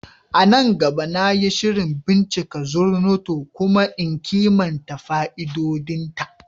A nan gaba, na yi shirin bincika Zornoto kuma in kimanta fa'idodinta.